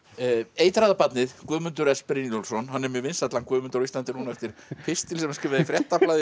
eitraða barnið Guðmundur s Brynjólfsson hann er mjög vinsæll hann Guðmundur á Íslandi núna eftir pistil sem hann skrifaði í Fréttablaðið